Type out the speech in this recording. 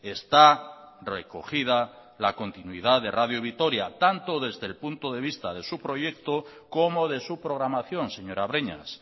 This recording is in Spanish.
está recogida la continuidad de radio vitoria tanto desde el punto de vista de su proyecto como de su programación señora breñas